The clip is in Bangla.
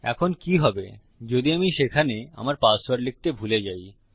এখন কি হবে যদি আমি সেখানে আমার পাসওয়ার্ড লিখতে ভুলে যাই